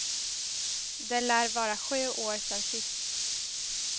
Det lär vara sju år sen sist.